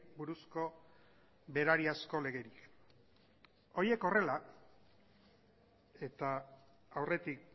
buruzko berari asko legerik horiek horrela eta aurretik